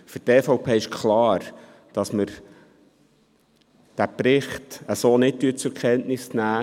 Für die EVP ist klar, dass wir den Bericht so nicht zur Kenntnis nehmen.